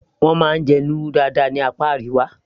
wọ́n máa ń jẹ lúrú dáadáa ní apá Àríwá